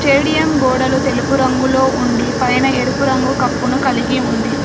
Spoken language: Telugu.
స్టేడియం గోడలు తెలుపు రంగులో ఉండి పైన ఎరుపు రంగు కప్పును కలిగి ఉంది.